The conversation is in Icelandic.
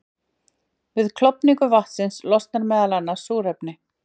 Við klofning vatnsins losnar meðal annars súrefni.